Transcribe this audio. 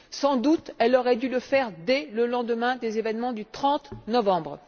Elle aurait sans doute dû le faire dès le lendemain des événements du 30novembre.